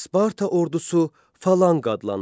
Sparta ordusu Falanka adlanırdı.